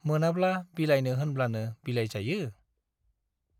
मोनाब्ला बिलाइनो होनब्लानो बिलाइजायो ?